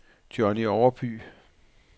Jonny Overby